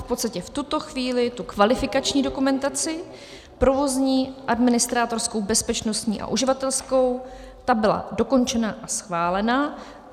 V podstatě v tuto chvíli tu kvalifikační dokumentaci, provozní, administrátorskou, bezpečnostní a uživatelskou - ta byla dokončena a schválena.